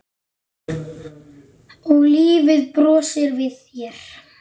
Og lífið brosir við þér!